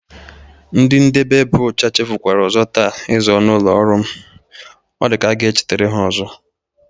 Ndị ndebe ebe ọcha chefukwara ọzọ taa ịza ọnụ ụlọ ọrụ m. Ọ dịka a ga-echetara ha ọzọ.